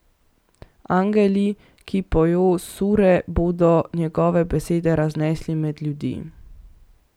Angeli, ki pojo sure, bodo njegove besede raznesli med ljudi.